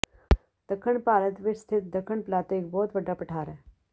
ਦੱਖਣ ਭਾਰਤ ਵਿਚ ਸਥਿਤ ਦੱਖਣ ਪਲਾਤੋ ਇਕ ਬਹੁਤ ਵੱਡਾ ਪਠਾਰ ਹੈ